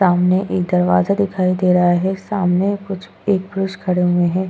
सामने एक दरवाजा दिखाई दे रहा है सामने कुछ एक पुरुष खड़े हुए हैं।